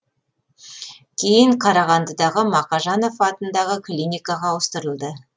кейін қарағандыдағы мақажанов атындағы клиникаға ауыстырылды